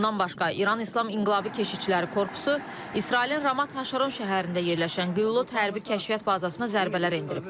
Bundan başqa, İran İslam İnqilab Keşikçiləri Korpusu İsrailin Ramat HaŞaron şəhərində yerləşən Qillot hərbi kəşfiyyat bazasına zərbələr endirib.